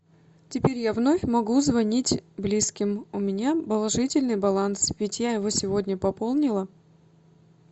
теперь я вновь могу звонить близким у меня положительный баланс ведь я его сегодня пополнила